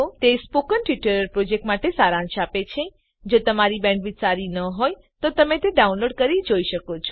તે spoken tutorial પ્રોજેક્ટનો સારાંશ આપે છે જો તમારી બેન્ડવિડ્થ સારી ન હોય તો તમે ડાઉનલોડ કરી તે જોઈ શકો છો